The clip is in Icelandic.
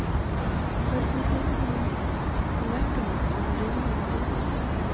Hvernig hafði honum vegnað á liðnum vetri?